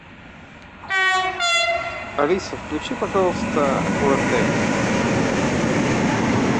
алиса включи пожалуйста орт